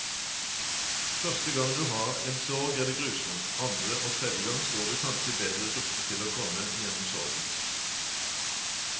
Første gang du har en sorg er det grusomt, andre og tredje gang står du kanskje bedre rustet til å komme gjennom sorgen.